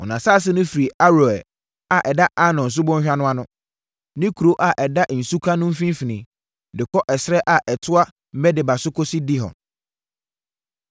Wɔn asase no firi Aroer a ɛda Arnon Subɔnhwa no ano (ne kuro a ɛda nsuka no mfimfini) de kɔ ɛserɛ a ɛtoa Medeba so kɔsi Dibon.